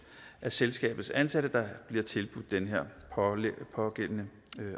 af selskabets ansatte bliver tilbudt den pågældende